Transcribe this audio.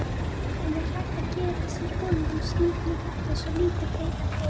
En er hægt að gera sér vonir um slíkt með svo lítið breyttan hóp?